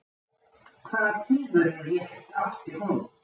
Hvaða tilverurétt átti hún?